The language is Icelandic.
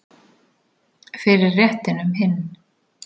Fyrir réttinum hinn